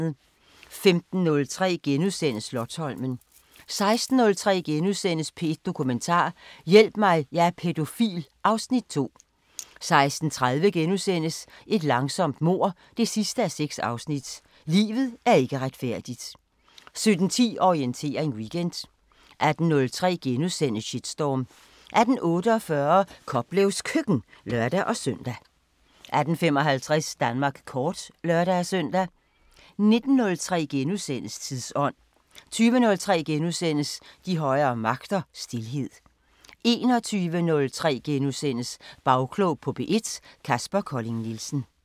15:03: Slotsholmen * 16:03: P1 Dokumentar: Hjælp mig, jeg er pædofil (Afs. 2)* 16:30: Et langsomt mord 6:6 – Livet er ikke retfærdigt * 17:10: Orientering Weekend 18:03: Shitstorm * 18:48: Koplevs Køkken (lør-søn) 18:55: Danmark kort (lør-søn) 19:03: Tidsånd * 20:03: De højere magter: Stilhed * 21:03: Bagklog på P1: Kaspar Colling Nielsen *